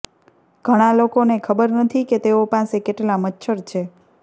ઘણાં લોકોને ખબર નથી કે તેઓ પાસે કેટલા મચ્છર છે